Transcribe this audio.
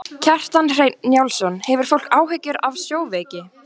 Kjartan Hreinn Njálsson: Hefur fólk áhyggjur af sjóveiki?